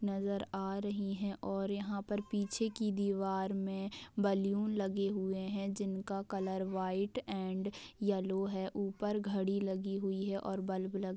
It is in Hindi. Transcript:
नजर आ रही है और यहां पर पीछे की दीवार में बैलून लगे हुए हैं जिनका कलर व्हाइट एंड येलो है ऊपर घड़ी लगी हुई है और बल्ब लग--